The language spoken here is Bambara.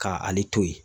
Ka ale to yen